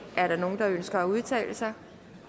er der nogen der ønsker at udtale sig